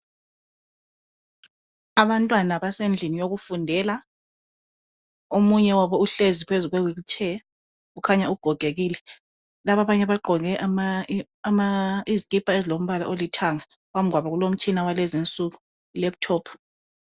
Abantwana basendlini yokufundela, omunye wabo uhlezi phezu kwe wilitsheya kukhanya ugogekile. Laba abanye bagqoke izikipa ezilombala olithanga. Phambi kwabo kulomtshina walezinsuku ilephutophu.